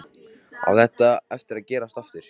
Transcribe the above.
Á þetta eftir að gerast aftur?